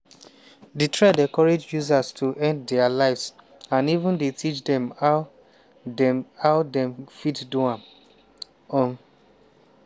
di thread encourage users to end dia lives and even dey teach dem how dem how dem fit do am. um